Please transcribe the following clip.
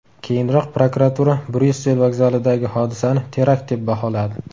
Keyinroq prokuratura Bryussel vokzalidagi hodisani terakt deb baholadi.